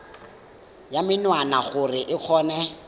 ya menwana gore o kgone